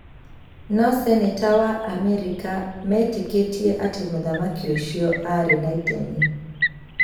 No seneta wa Amerika metĩkĩtie atĩ mũthamaki ũcio aarĩ na itemi